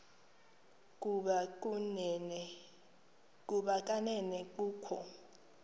ukuba kanene kukho